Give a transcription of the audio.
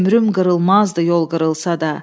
Ömrüm qırılmazdı yol qırılsa da.